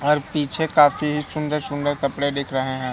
और पीछे काफ़ी सुंदर सुंदर कपड़े दिख रहे है।